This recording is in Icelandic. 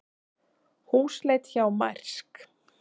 Húsleit hjá Mærsk